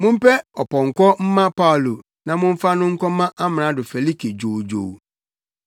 Mompɛ ɔpɔnkɔ mma Paulo na momfa no nkɔma Amrado Felike dwoodwoo.”